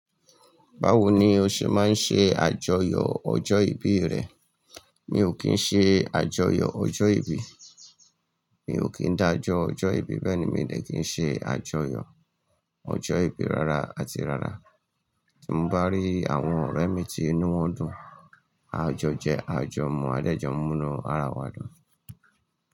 Báwo ni o ṣe máa ń ṣe àjọyọ̀ ọjọ́ ìbí rẹ? Mi ò kí ń ṣe àjọyọ̀ ọjọ́ ìbí. Mi ò kí ń dájọ ọjọ́ ìbí, bẹ́ẹ̀ ni míi dè kí ń ṣe àjọyọ̀ ọjọ́ ìbí rárá àti rárá. Tí mo bá rí àwọn ọ̀rẹ́ mi tí inú wọn dùn, a a jo jẹ, à a jọ mu, a a dé jọ mu inú ara wa dùn.